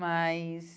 Mas...